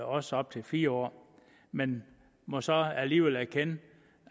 også op til fire år men må så alligevel erkende